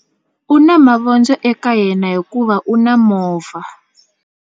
U na mavondzo eka yena hikuva u na movha.